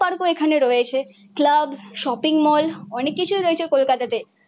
পার্কও এখানে রয়েছে। Club shopping mall অনেক কিছুই রয়েছে কলকাতাতে।